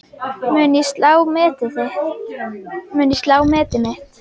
Mun ég slá metið mitt?